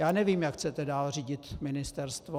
Já nevím, jak chcete dál řídit ministerstvo.